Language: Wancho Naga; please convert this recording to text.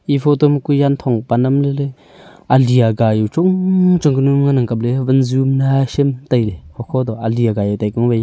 e photo ma kui yan thongpan nam lele ali aga jau chungchung ka nyu ngan ang kap le wanju nyaisam taile hokho to ali aga jau taiku mawai hi.